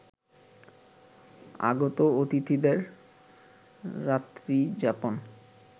আগত অতিথিদের রাত্রি যাপন